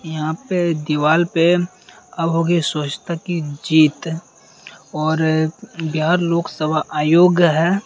यहाँ पे दीवाल पे अब होगी स्वछता की जीत और अ बिहार लोक सभा आयोग है।